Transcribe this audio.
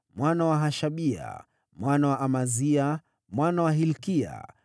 mwana wa Hashabia, mwana wa Amazia, mwana wa Hilkia,